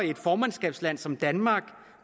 et formandskabsland som danmark